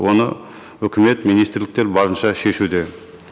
оны үкімет министрліктер барынша шешуде